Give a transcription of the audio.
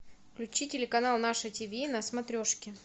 включи телеканал наше тв на смотрешке